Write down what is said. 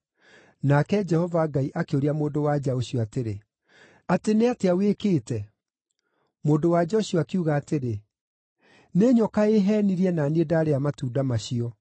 Nake Jehova Ngai akĩũria mũndũ-wa-nja ũcio atĩrĩ, “Atĩ nĩ atĩa wĩkĩte?” Mũndũ-wa-nja ũcio akiuga atĩrĩ, “Nĩ nyoka ĩheenirie na niĩ ndarĩa matunda macio.”